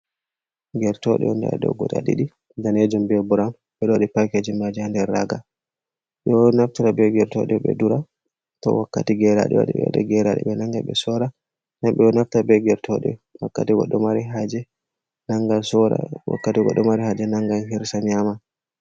Gertooɗe on nder ɗoo guda ɗiɗi daneejum bee bround ɓe ɗo waɗi packaging maaji haa nder raaga, ɓe ɗo naftira bee gertooɗe ɗe dura to wakkati geraaɗe ɓe hoosa geraaɗe ɓe nannga ɓe sorra, nden ɓe ɗo naftira bee gertooɗe wakkati goɗɗo mari haaje nanngan hirsa nyaama